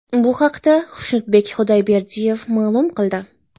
Bu haqda Xushnudbek Xudoyberdiyev ma’lum qildi .